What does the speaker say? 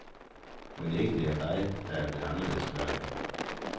Mon ikke det er dig, der er blevet anderledes, spørger jeg.